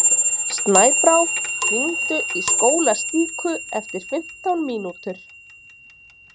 Snæbrá, hringdu í Skólastíku eftir fimmtán mínútur.